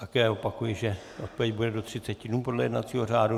Také opakuji, že odpověď bude do 30 dnů, podle jednacího řádu.